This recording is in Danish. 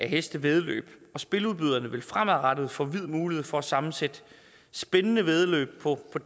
hestevæddeløb og spiludbyderne vil fremadrettet få vid mulighed for at sammensætte spændende væddemål på